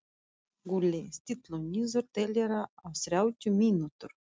Gulli, stilltu niðurteljara á þrjátíu mínútur.